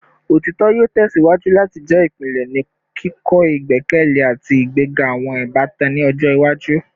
Otitọ yoo tẹsiwaju lati jẹ ipilẹ ni kikọ igbẹkẹle ati igbega awọn ibatan ni ọjọ iwaju